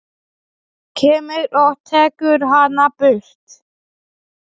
Lalli horfði til baka.